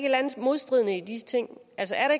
eller andet modstridende i de ting altså er